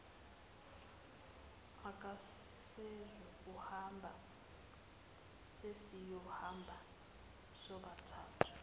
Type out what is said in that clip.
akasezukuhamba sesiyohamba sobathathu